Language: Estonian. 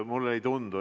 Mulle ei tundu nii.